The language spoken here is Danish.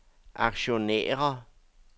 aktionærer